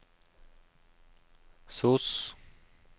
sos